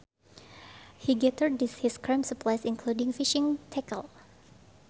He gathered his camp supplies including fishing tackle